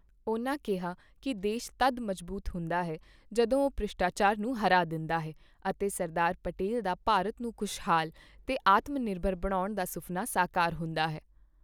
ਉਨ੍ਹਾਂ ਕਿਹਾ ਕੀ ਦੇਸ਼ ਤਦ ਮਜ਼ਬੂਤ ਹੁੰਦਾ ਹੈ, ਜਦੋਂ ਉਹ ਭ੍ਰਿਸ਼ਟਾਚਾਰ ਨੂੰ ਹਰਾ ਦਿੰਦਾ ਹੈ ਅਤੇ ਸਰਦਾਰ ਪਟੇਲ ਦਾ ਭਾਰਤ ਨੂੰ ਖ਼ੁਸ਼ਹਾਲ ਤੇ ਆਤਮਨਿਰਭ ਬਣਾਉਣ ਦਾ ਸੁਫ਼ਨਾ ਸਾਕਾਰ ਹੁੰਦਾ ਹੈ।